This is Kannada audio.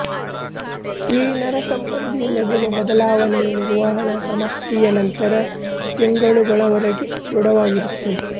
ಈ ನರಸಂಬಂಧಿ ಮೆದುಳು ಬದಲಾವಣೆಯು ನಿರ್ವಹಣಾ ಸಮಾಪ್ತಿಯ ನಂತರ ತಿಂಗಳುಗಳವರೆಗೆ ಧೃಢವಾಗಿರುತ್ತದೆ